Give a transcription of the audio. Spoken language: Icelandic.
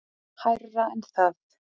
Hærra en það.